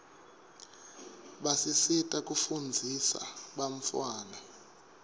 basisita kufunzisa bantfwana